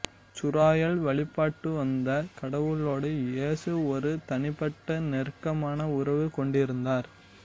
இசுராயேல் வழிபட்டுவந்த கடவுளோடு இயேசு ஒரு தனிப்பட்ட நெருக்கமான உறவுகொண்டிருந்தார்